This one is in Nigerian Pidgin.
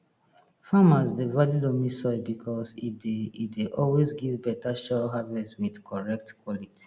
farmers dey value loamy soil because e dey e dey always give beta sure harvest with correct quality